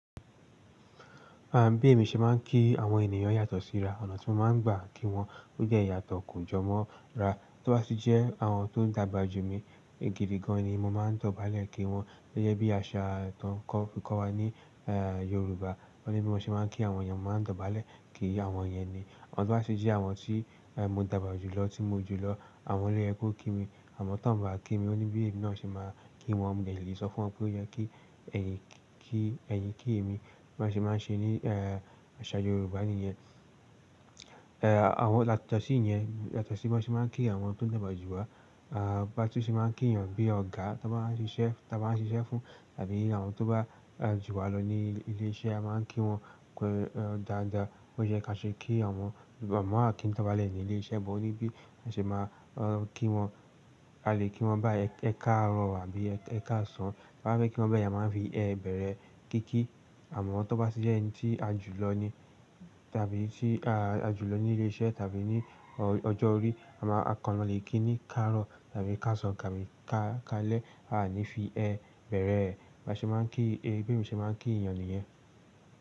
Àbí èmi ṣe máa ń kí àwọn ènìyàn yàtọ̀ sí ra. Ọ̀nà tí mo máa ń gbà kí wọn ó jẹ́ yàtọ̀ kù jọmọ ra. Tóbá tì jẹ́ àwọn tó dàgbà jù mí, gìdì gan ni mo máa ń dọ̀bálẹ̀ kí wọn. Ó jẹ́ bí àṣà tó ń kọ́ fi kọ́ wa níYorùbá. Ó ní bí mo ṣe máa ń kí àwọn ènìyàn, mo máa ń dọ̀bálẹ̀ kí àwọn ènìyàn ni. Tọ́ bá tì jẹ́ àwọn tí mo dàgbà jù lọ, tí mo jù lọ, àwọn lo yẹ kó kí mi. Àmọ́ tan bá kí mi, ó ní bí èmi náà ṣe máa kí wọn. Mo lè lè sọ fún wọn pé ó yẹ kí ẹ̀yin, kí ẹ̀yin kí èmi. Bọ ṣe máa n ṣe ní àṣà Yorùbá nìyẹn. Àwọn làtọ̀sí yẹn, yàtọ̀sí bo ṣe máa ń kí àwọn tó dàgbà jù wa. Bá tun ṣe máa ń kí ènìyàn bí ọ̀gá, tó bá ń ṣi iṣẹ́, ta bá ń ṣi iṣẹ́ fún tàbí àwọn tó bá jù wa lọ ní ilé iṣẹ́, a máa ń kí wọn dáadáa. Ó yẹ ká ṣe kí àwọn ọmọ àkín tọ́balẹ̀ ní ilé iṣẹ́ bọ̀ ó ní bí a ṣe máa kí wọn. A lè kí wọn bá ẹ káàrọ̀ àbí ẹ káàsán. Bá fẹ́ kí wọn bẹ́ẹ̀ la máa ń fi ẹ bẹ̀rẹ̀ ẹ. Kí kí àwọn tó bá sì jẹ́ ẹni tí a jù lọ ni tàbí tí a jù lọ ní ilé iṣẹ́ tàbí ní ọjọ́ orí, a máa kàn lọ lè kí ni kárọ̀ tàbí káàsán tàbí ká kalẹ́. A à ní fi ẹ bẹ̀rẹ̀ ẹ. Ba ṣe máa ń kí, bèmi ṣe máa ń kí ènìyàn nìyẹn.